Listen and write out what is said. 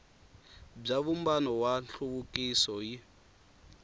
bya vumbano wa nhluvukiso yi